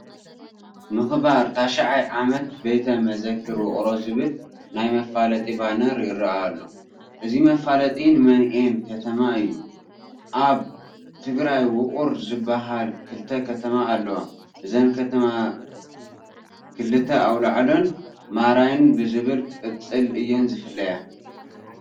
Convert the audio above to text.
ምኽባር 9ይ ዓመት ቤተ መዘክር ውቕሮ ዝብል ናይ መፋለጢ ባነር ይርአ ኣሎ፡፡ እዚ መፋለጢ ንመንኤን ከተማ እዩ፡፡ ኣብ ትግራይ ውቕር ዝበሃላ ክልተ ከተማ ኣለዋ፡፡ እዘን ከተማ ክልተ ኣውላዕሎን ማራይን ብዝብል ቅፅል እየን ዝፍለያ፡፡